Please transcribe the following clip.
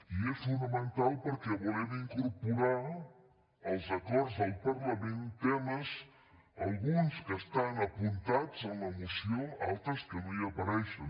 i és fonamental perquè volem incorporar als acords del parlament temes alguns que estan apuntats en la moció altres que no hi apareixen